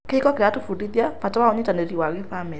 Kĩhiko kĩratũbundithia bata wa ũnyitanĩri wa gĩbamĩrĩ.